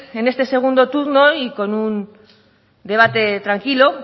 en este segundo turno y con un debate tranquilo